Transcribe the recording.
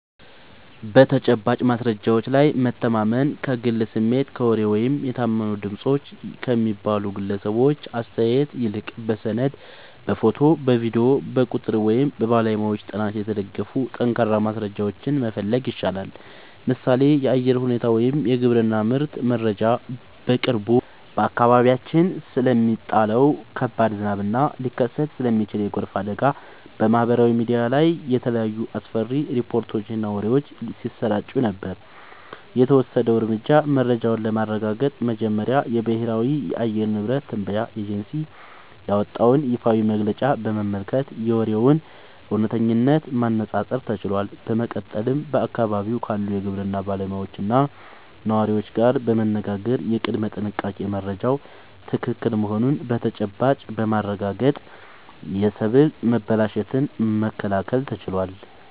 በተጨባጭ ማስረጃዎች ላይ መታመን፦ ከግል ስሜት፣ ከወሬ ወይም "የታመኑ ድምፆች" ከሚባሉ ግለሰቦች አስተያየት ይልቅ፣ በሰነድ፣ በፎቶ፣ በቪዲዮ፣ በቁጥር ወይም በባለሙያዎች ጥናት የተደገፉ ጠንካራ ማስረጃዎችን መፈለግ ይሻላል። ምሳሌ (የአየር ሁኔታ ወይም የግብርና ምርት መረጃ)፦ በቅርቡ በአካባቢያችን ስለሚጣለው ከባድ ዝናብ እና ሊከሰት ስለሚችል የጎርፍ አደጋ በማህበራዊ ሚዲያ ላይ የተለያዩ አስፈሪ ሪፖርቶችና ወሬዎች ሲሰራጩ ነበር። የተወሰደው እርምጃ፦ መረጃውን ለማረጋገጥ መጀመሪያ የብሔራዊ የአየር ንብረት ትንበያ ኤጀንሲ ያወጣውን ይፋዊ መግለጫ በመመልከት የወሬውን እውነተኝነት ማነፃፀር ተችሏል። በመቀጠልም በአካባቢው ካሉ የግብርና ባለሙያዎችና ነዋሪዎች ጋር በመነጋገር የቅድመ-ጥንቃቄ መረጃው ትክክል መሆኑን በተጨባጭ በማረጋገጥ የሰብል መበላሸትን መከላከል ተችሏል።